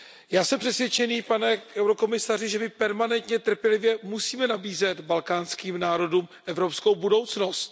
Já jsem přesvědčený, pane komisaři, že my permanentně, trpělivě musíme nabízet balkánským národům evropskou budoucnost.